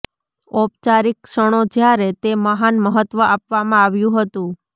ઔપચારિક ક્ષણો જ્યારે તે મહાન મહત્વ આપવામાં આવ્યું હતું